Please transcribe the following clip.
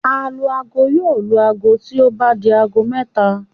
Alu-aago yóò lu aago bí ó bá di aago mẹ́ta